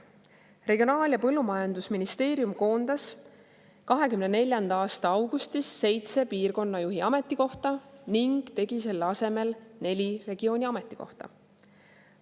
Regionaal‑ ja Põllumajandusministeerium koondas 2024. aasta augustis seitse piirkonnajuhi ametikohta ning tegi selle asemel neli regiooni ametikohta.